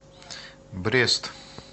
брест